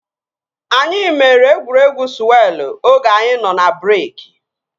Anyị mere egwuregwu sụwelụ oge anyị nọ n'breeki